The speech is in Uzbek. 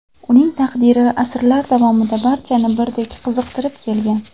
Uning taqdiri asrlar davomida barchani birdek qiziqtirib kelgan.